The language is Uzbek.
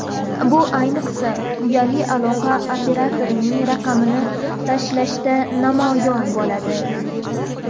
Bu, ayniqsa, uyali aloqa operatorining raqamini tanlashda namoyon bo‘ladi.